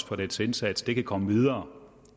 for dens indsats kan komme videre